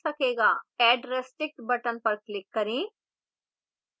add restriction button पर click करें